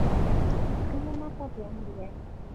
kanyoo naasa te amuri ai